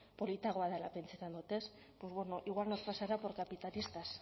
politikoagoa dela pentsatzen dut ez pues bueno igual nos pasará por capitalistas